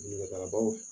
Nɛgɛbaw